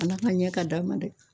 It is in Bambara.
Ala ka ɲɛ ka d'a ma dɛ.